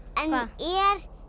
er